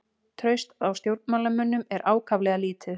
Traust á stjórnmálamönnum er ákaflega lítið